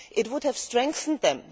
It would have strengthened them.